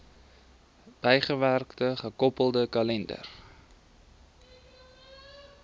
bygewerkte gekoppelde kalender